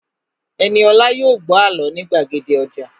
Ẹniolá yóò gbọ́ àlọ́ ní gbàgede ọjà